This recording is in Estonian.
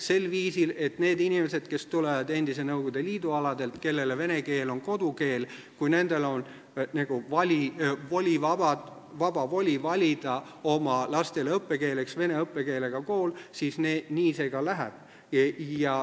Sel viisil, et kui nendel inimestel, kes tulevad endise Nõukogude Liidu aladelt, kellele vene keel on kodukeel, on vaba voli valida oma lastele õppekeeleks vene õppekeelega kool, siis nii see ka läheb.